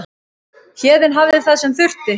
Héðinn hafði það sem þurfti.